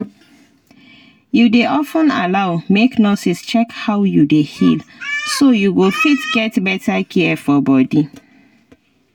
you dey of ten allow make nurses check how you dey heal so you go fit get better care for body